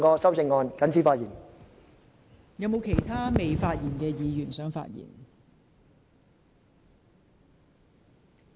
是否有尚未發言的委員想發言？